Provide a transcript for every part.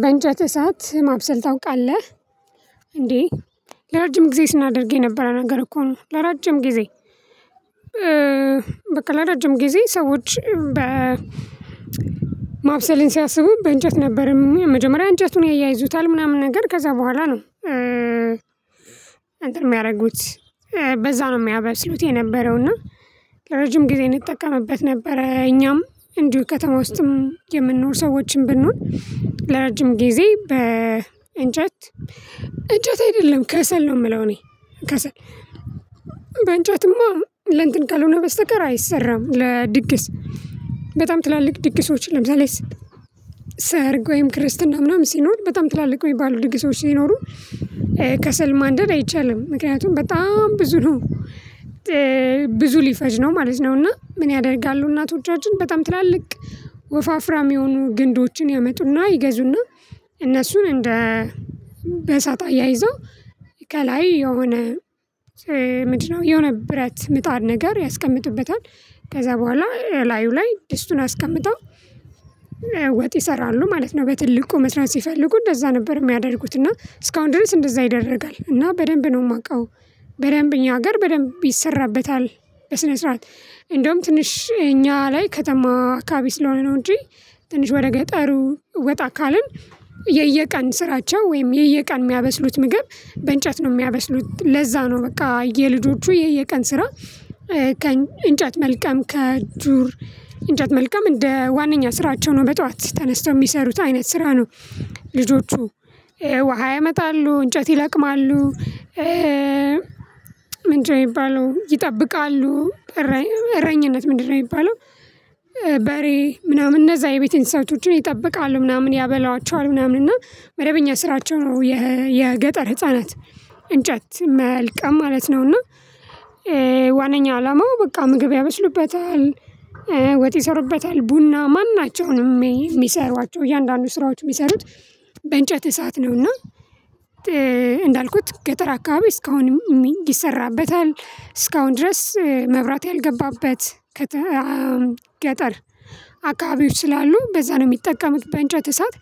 በእንጨት እሳት ማብሰል ታውቃለህ እንዴ ለረጅም ጊዜ ስናደርግ የነበረ ነገር እኮ ነው። ለረጅም ጊዜ በቃ ለረጅም ጊዜ ሰዎች በ ማብሰልን ሲያስቡ በእንጨት ነበረ መጀመሪያ እንጨቱን ያያይዙታል ምናምን ነገር ከዛ በኋላ ነው አንትን የሚያደርጉት በዛ ነው የሚያበስሉት የነበረው። እና ለረጅም ጊዜ እንጠቀምበት ነበረ እኛም እንዲሁ ከተማ ውስጥም የምንኖር ሰዎችን ብንሆን ለረጅም ጊዜ በእንጨት እንጨት አይደለም ከሰል ነው። የምለው። እኔ ከሰል በእንጨትማ ለእንትን ካልሆነ በስተቀር አይሰራም። ለድግስ በጣም ትላልቅ ድግሶች ለምሳሌ ሰርግ ወይም ክርስትና ምናምን ሲኖር በጣም ትላልቅ የሚባሉ ድግሶች ይኖሩ ከሰል ማንደድ አይቻልም። ምክንያቱም በጣም ብዙ ነው ብዙ ሊፈጅ ነው ማለት ነው። እና ምን ያደርጋሉ እናቶቻችን በጣም ትላልቅ ወፋፍራም የሆኑ ግንዶችን ያመጡና ይገዙና እነሱን እንደ በእሳት ያይዘው ከላይ የሆነ ምንድነው የሆነ ብረት ምጣን ነገር ያስቀምጡበታል። ከዛ በኋላ ላዩ ላይ ድስቱን አስቀምጠው ወጥ ይሰራሉ ማለት ነው። በትልቁ መስራት ሲፈልጉ እንደዛ ነበር የሚያደርጉት እና እስካሁን ድረስ እንደዛ ይደረጋል እና በደንብ ነው የማውቀው። በደንብ እኛ ሀገር በደንብ ይሰራበታል። በስነ ስርዓት እንደውም ትንሽ እኛ ላይ ከተማ አካባቢ ስለሆነ ነው። እንጂ ትንሽ ወደ ገጠሩ ወጣ ካልን የየቀን ስራቸው ወይም የየቀን የሚያበስሉት ምግብ በእንጨት ነው የሚያበስሉት ለዛ ነው። በቃ የልጆቹ የየቀን ስራ ከእንጨት መልቀም ከዱር እንጨት መልቀም እንደ ዋነኛ ስራቸው ነው። በጠዋት ተነስተው የሚሰሩት አይነት ስራ ነው። ልጆቹ ውሃ ያመጣሉ እንጨት ይለቅማሉ። ምንድነው የሚባለው ይጠብቃሉ። እረኝነት ምንድነው የሚባለው? በሬ ምናምን እነዛ የቤት እንሣቶችን ይጠብቃሉ ምናምን ያበሏቸዋል ምናምን እና መደበኛ ስራቸው ነው። የገጠር ህፃናት እንጨት መልቀም ማለት ነው። እና ዋነኛ አላማው በቃ ምግብ ያበስሉበታል ወጥ ይሰሩበታል ቡና ማናቸውንም የሚሰሩዋቸው እያንዳንዱ ስራዎች የሚሰሩት በእንጨት እሳት ነው። እና እንዳልኩት ገጠር አካባቢ እስካሁን ይሰራበታል። እስካሁን ድረስ መብራት ያልገባበት ከ ገጠር አካባቢዎች ስላሉ በዛ ነው የሚጠቀሙት። በእንጨት እሳት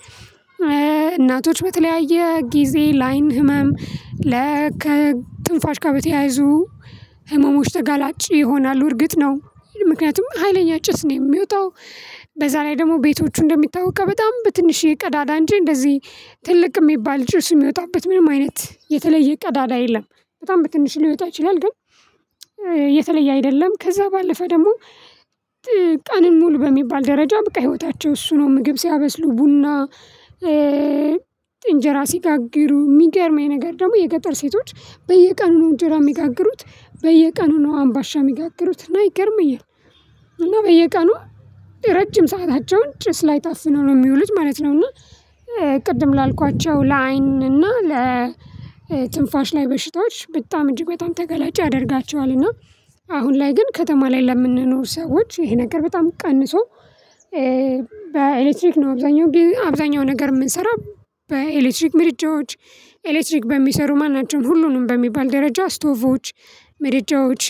እናቶች በተለያየ ጊዜ ለአይን ህመም ለከ ትንፋሽ ጋር በተያያዙ ህመሞች ተጋላጭ ይሆናሉ። እርግጥ ነው ምክንያቱም ሀይለኛ ጭስ ነው የሚወጣው። በዛ ላይ ደግሞ ቤቶቹ እንደሚታወቀው በጣም በትንሽ የቀዳዳ እንጂ እንደዚህ ትልቅ የሚባል ጭስ የሚወጣበት ምንም አይነት የተለየ ቀዳዳ የለም። በጣም በትንሽ ሊወጣ ይችላል ግን የተለየ አይደለም። ከዛ ባለፈ ደግሞ ቀንን ሙሉ በሚባል ደረጃ በቃ ህይወታቸው እሱ ነው። ምግብ ሲያበስሉ ቡና እንጀራ ሲጋግሩ የሚገርመኝ ነገር ደግሞ የገጠር ሴቶች በየቀኑ ነው እንጀራ የሚጋግሩት። በየቀኑ ነው አምባሻ የሚጋግሩት እና ይገርመኛል። እና በየቀኑ ረጅም ሰአታቸውን ጭስ ላይ ታፍነው ነው የሚውሉት ማለት ነው። እና ቅድም ላልኳቸው ለአይን እና ለትንፋሽ ላይ በሽታዎች በጣም እጅግ በጣም ተገላጭ ያደርጋቸዋል። እና አሁን ላይ ግን ከተማ ላይ ለምንኖር ሰዎች ይሄ ነገር በጣም ቀንሶ። በኤሌክትሪክ ነው አብዛኛው አብዛኛው ነገር የምንሰራው። በኤሌክትሪክ ምርጃዎች ኤሌክትሪክ በሚሰሩ ማናቸውም ሁሉንም በሚባል ደረጃ ስቶፎቮች ምድጃዎች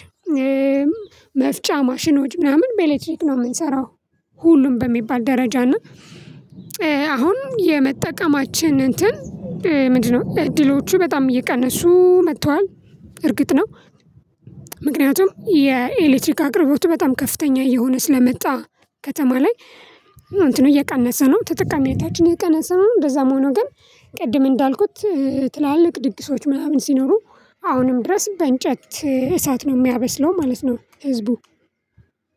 መፍጫ ማሽኖች ምናምን በኤሌክትሪክ ነው የምንሰራው። ሁሉም በሚባል ደረጃ እና አሁን የመጠቀማችን እንትን ምንድነው እድሎቹ በጣም እየቀነሱ መጥተዋል። እርግጥ ነው። ምክንያቱም የኤሌክትሪክ አቅርቦቱ በጣም ከፍተኛ እየሆነ ስለመጣ ከተማ ላይ እንትኑ እየቀነሰ ነው ተጠቃነታችን የቀነሰ ነው። እንደዛም ሆኖ ግን ቅድም እንዳልኩት ትላልቅ ድግሶች ምናምን ሲኖሩ አሁንም ድረስ በእንጨት እሳት ነው የሚያበስለው ማለት ነው። ህዝቡ